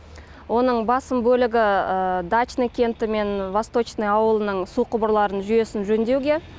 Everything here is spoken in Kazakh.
оның басым бөлігі дачный кенті мен восточный ауылының су құбырларын жүйесін жөндеуге